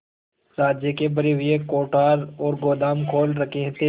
राज्य के भरे हुए कोठार और गोदाम खोल रखे थे